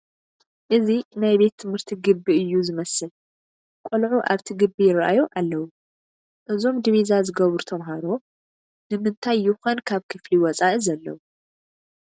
እዚ ናይ ቤት ትምህርቲ ግቢ እዩ ዝመስል፡፡ ቆልዑ ኣብቲ ግቢ ይርአዩ ኣለዉ፡፡ እዞም ዲቢዛ ዝገበሩ ተመሃሮ ንምንታይ ይኾን ካብ ክፍሊ ወፃኢ ዘለዉ?